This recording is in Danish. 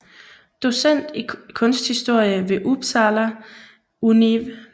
Docent i Kunsthistorie ved Upsala Univ